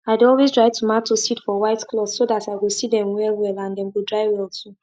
farmers dey talk say make you no ever keep seeds near kerosene because the smell fit spoil their power to grow.